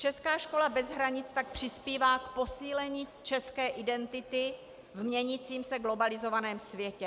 Česká škola bez hranic tak přispívá k posílení české identity v měnícím se globalizovaném světě.